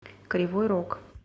кривой рог